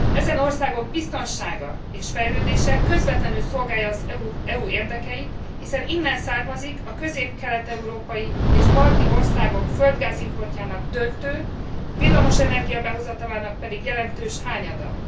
Ezen országok biztonsága és fejlődése közvetlenül szolgálja az EU érdekeit, hiszen innen származik a közép kelet európai és balti országok földgázimportjának döntő, villamosenergia behozatalának pedig jelentős hányada.